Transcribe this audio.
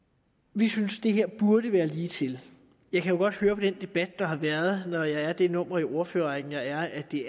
vi synes det her burde være ligetil jeg kan jo godt høre på den debat der har været når jeg er det nummer i ordførerrækken jeg er at det